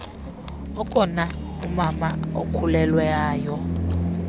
okona umama okhulelwayo